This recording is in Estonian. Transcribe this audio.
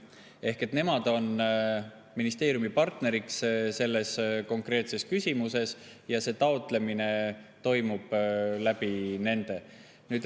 Ehk nemad on ministeeriumi partneriks selles konkreetses küsimuses ja taotlemine toimub nende kaudu.